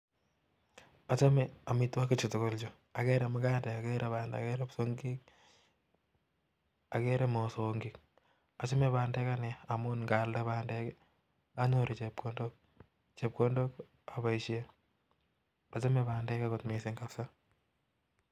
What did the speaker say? achame amitwokik chu tugul chu, agere bandek, kipsongik ,magandek ,achame bandek missing amu ngaalnde anyoru chepkondok